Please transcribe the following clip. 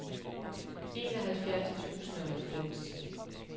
enoghalvfjerds tusind og halvfems